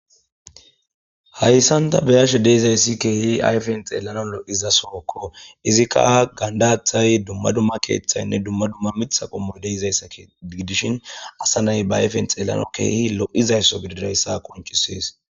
Hayssanta beyashe deizayssi keehi ayfen xeelanan lo7iza sookko izikka gandathay dumma dumma keeththaynne dumma dumma mitha qommoy deizayssa gidishin asa nay ba ayfen xeelano keehi lo7izaysso gididayssa qonchisis.